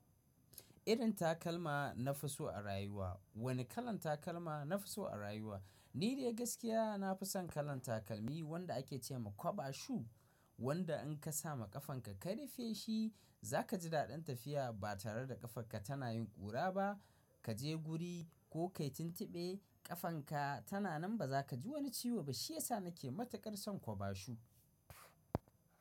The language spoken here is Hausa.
Irin takalma na fi so a rayuwa. Wane kalan takalma nafi so a rayuwa? Ni dai gaskiya nafi son kalan takalmi wanda ake ce ma kwaba shu, wanda in ka sa ma ƙafanka ka rufe shi za ka ji daɗin tafiya ba tare da ƙafarka tana yin ƙura ba. Ka je guri ko ka yi tuntuɓe ƙafanka tana nan ba za ka ji wani ciwo ba. Shi ya sa nake matukar son kwaba shu.